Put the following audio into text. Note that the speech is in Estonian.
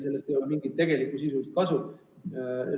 Sellest ei ole mingit sisulist kasu.